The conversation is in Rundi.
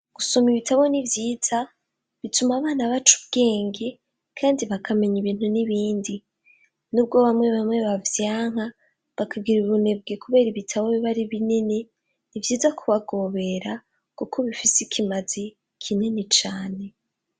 Gusoma ibitabo nivyiza .Bituma abana bacubwenge kandi bakamenya ibintu n'ibindi n'ubwo bamwe bamwe bavyanka bakagira ubunebwe kubera ibitabo bibari binini nivyiza kubagobera kuko bifise ikimazi kinini cane.